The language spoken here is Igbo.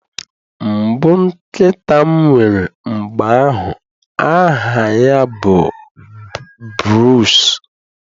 mbụ nkịta m nwere mgbe ahu aha ya bụ Bruce